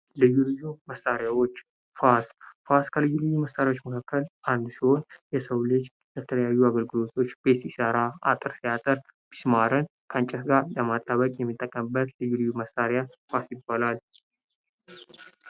ልዩ ልዩ መሳሪያዎች ፋስ ፋስ ከልዩ ልዩ መሳሪያዎች መካከል አንዱ ሲሆን ለሰው ልጅ የተለያዩ አገልግሎቶች ቤት ሲሰራ አጥር ሲያጥር ሚስማርን ከእንጨት ጋር ለማጣበቅ የሚጠቀምበት ልዩ ልዩ መሳሪያ ፋስ ይባላል።